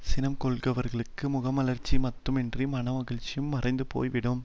சினம் கொள்கிறவர்களுக்கு முகமலர்ச்சி மாத்திரமின்றி மனமகிழ்ச்சியும் மறைந்து போய் விடும்